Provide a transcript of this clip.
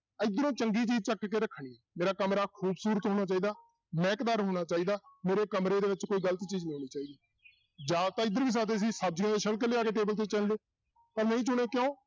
ਇੱਧਰੋਂ ਚੰਗੀ ਚੀਜ਼ ਚੁੱਕ ਕੇ ਰੱਖਣੀ ਆ ਮੇਰਾ ਕਮਰਾ ਖੂਬਸੂਰਤ ਹੋਣਾ ਚਾਹੀਦਾ, ਮਹਿਕਦਾਰ ਹੋਣਾ ਚਾਹੀਦਾ, ਮੇਰੇ ਕਮਰੇ ਦੇ ਵਿੱਚ ਕੋਈ ਗ਼ਲਤ ਚੀਜ਼ ਨੀ ਆਉਣੀ ਚਾਹੀਦੀ ਜਾ ਤਾਂ ਇੱਧਰ ਵੀ ਸਕਦੇ ਸੀ ਸਬਜ਼ੀਆਂ ਦੇ ਛਿਲਕ ਲਿਆ ਕੇ table ਤੇ ਚਿਣ ਲਓ ਪਰ ਨਹੀਂ ਚੁੱਣਿਆ, ਕਿਉਂ?